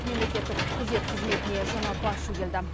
мемлекеттік күзет қызметіне жаңа басшы келді